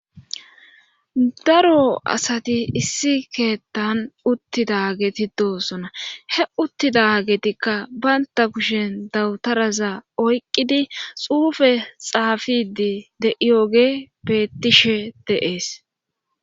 daro asati issi keettan uttida geti doosona he uttida getikka baynta kushen dawutaraza oyqqidi xuufe xaafidi de7iyoge bettishe deees